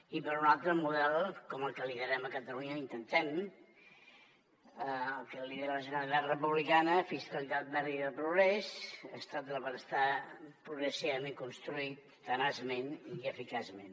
i per una altra model com el que liderem a catalunya ho intentem el que lidera la generalitat republicana fiscalitat verda i de progrés estat del benestar progressivament construït tenaçment i eficaçment